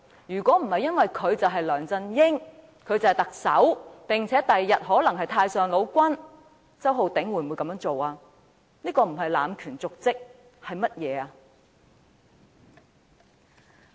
如果不是因為他是梁振英，是特首，日後更可能是太上王，周浩鼎議員會這樣做嗎？